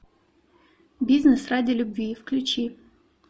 бизнес ради любви включи